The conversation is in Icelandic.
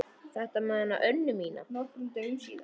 Þetta með hana Önnu mína.